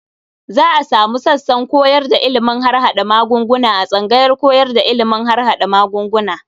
Za a sumu sassan koyar da ilimin harhaɗa magunguna a tsangayar koyar da ilimin harhaɗa magunguna.